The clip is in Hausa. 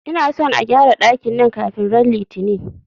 Ina son a gƴara dakin nan kafin ran Litini!